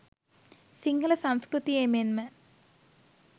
සිංහල සංස්කෘතියේ මෙන්ම